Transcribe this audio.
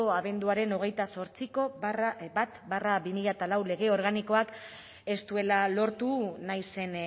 abenduaren hogeita zortziko bat barra bi mila lau lege organikoak ez duela lortu nahi zen